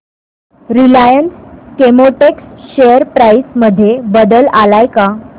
Reliance Chemotex share price मध्ये बदल आलाय का